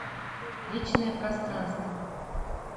личное пространство